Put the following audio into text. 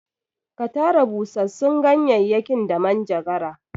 Ka tara busassun ganyayyakin da manjagara!